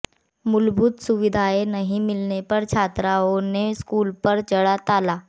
मूलभूत सुविधाएं नहीं मिलने पर छात्राओं ने स्कूल पर जड़ा ताला